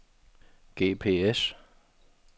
GPS